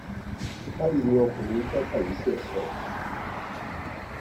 báyìí ni ọkùnrin onítìátà yìí ṣe sọ